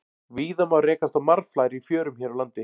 Víða má rekast á marflær í fjörum hér á landi.